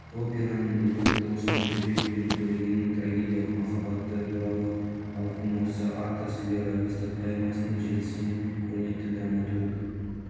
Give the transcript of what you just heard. операның либреттосын жібек пен төлегеннің трагедиялық махаббаты туралы халықтың осы аттас лиро-эпостық поэмасының желісімен көрнекті драматург